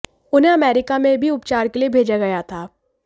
उन्हें अमेरिका में भी उपचार के लिए भेजा गया था